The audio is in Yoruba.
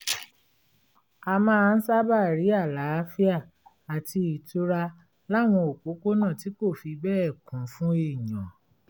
a máa ń sábà rí àlàáfíà àti ìtura láwọn òpópónà tí kò fi bẹ́ẹ̀ kún fún èèyàn